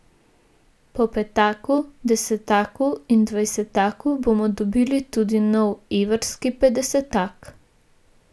Po petaku, desetaku in dvajsetaku bomo dobili tudi nov evrski petdesetak.